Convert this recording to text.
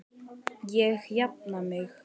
Ég jafna mig.